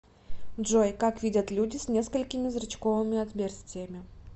джой как видят люди с несколькими зрачковыми отверстиями